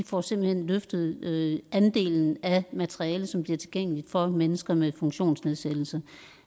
får simpelt hen løftet andelen af materiale som bliver tilgængeligt for mennesker med funktionsnedsættelse